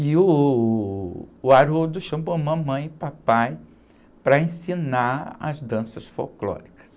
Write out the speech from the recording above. E uh, o Haroldo chamou mamãe e papai para ensinar as danças folclóricas.